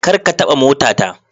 Kar ka taba motata.